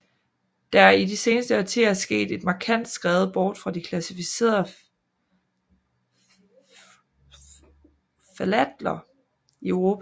Der er i de seneste årtier sket et markant skred bort fra de klassificerede ftalater i Europa